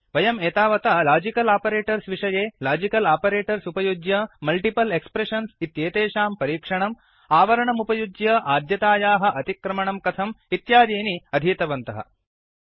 वयम् एतावता logical operators विषये लाजिकल् आपरेटर्स् उपयुज्य मल्टिपल् एक्प्रेषन्स् इत्येतेषां परीक्षणं आवरणम् उपयुज्य आद्यतायाः अतिक्रमणं कथम् इत्यादीनि अधीतवन्तः